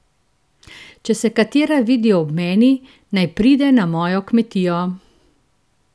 Če se katera vidi ob meni, naj pride na mojo kmetijo!